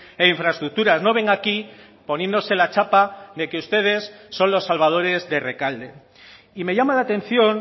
e infraestructuras no venga aquí poniéndose la chapa de que ustedes son los salvadores de rekalde y me llama la atención